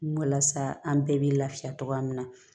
Walasa an bɛɛ bɛ lafiya cogoya min na